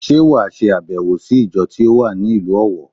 Sé wà sàbèwò sí ìjọ tí ó wà ní ìlú Òwọ̀